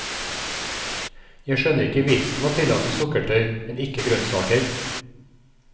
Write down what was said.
Jeg skjønner ikke vitsen med å tillate sukkertøy, men ikke grønnsaker.